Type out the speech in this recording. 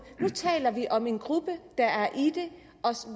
nu taler vi om en gruppe der er i det og